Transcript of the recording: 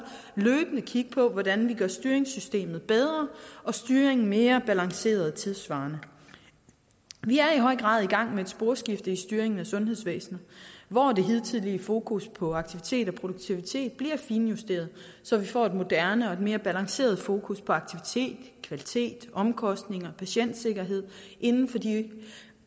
kigge på hvordan vi gør styringssystemet bedre og styringen mere balanceret og tidssvarende vi er i høj grad i gang med et sporskifte i styringen af sundhedsvæsenet hvor det hidtidige fokus på aktivitet og produktivitet bliver finjusteret så vi får et moderne og et mere balanceret fokus på aktivitet kvalitet omkostninger og patientsikkerhed inden for de